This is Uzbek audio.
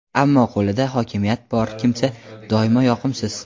ammo qo‘lida hokimiyat bor kimsa doimo yoqimsiz.